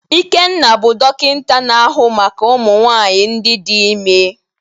Ikenna bụ dọkịta na-ahụ maka ụmụnwaanyị ndị dị ime.